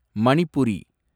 Manipuri